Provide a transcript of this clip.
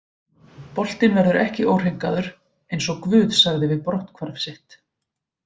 Boltinn verður ekki óhreinkaður, eins og GUÐ sagði við brotthvarf sitt.